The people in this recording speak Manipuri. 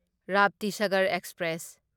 ꯔꯥꯞꯇꯤꯁꯥꯒꯔ ꯑꯦꯛꯁꯄ꯭ꯔꯦꯁ